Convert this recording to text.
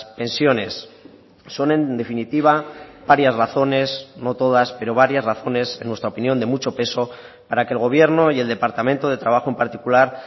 pensiones son en definitiva varias razones no todas pero varias razones en nuestra opinión de mucho peso para que el gobierno y el departamento de trabajo en particular